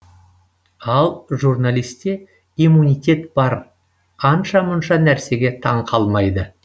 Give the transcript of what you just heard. ал журналисте иммунитет бар анша мұнша нәрсеге таңқалмайды